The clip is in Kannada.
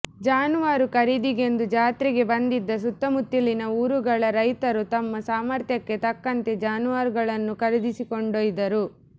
ಜಾನುವಾರು ಖರೀದಿಗೆಂದು ಜಾತ್ರೆಗೆ ಬಂದಿದ್ದ ಸುತ್ತ ಮುತ್ತಲಿನ ಊರುಗಳ ರೈತರು ತಮ್ಮ ಸಾಮರ್ಥ್ಯಕ್ಕೆ ತಕ್ಕಂತೆ ಜಾನುವಾರುಗಳನ್ನು ಖರೀದಿಸಿ ಕೊಂಡೊಯ್ದರು